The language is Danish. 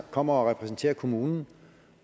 kommer og repræsenterer kommunen